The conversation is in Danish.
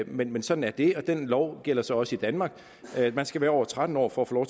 men men sådan er det og den lov gælder så også i danmark man skal være over tretten år for at få